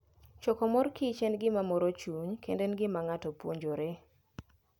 Choko mor kich en gima moro chuny kendo en gima ng'ato puonjore.